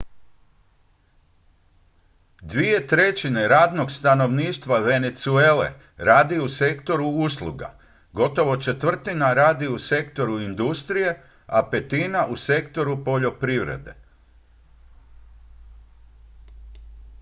dvije trećine radnog stanovništva venezuele radi u sektoru usluga gotovo četvrtina radi u sektoru industrije a petina u sektoru poljoprivrede